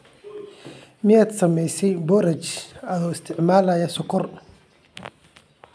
Miyaad samaysay boorash adoo isticmaalaya sonkor?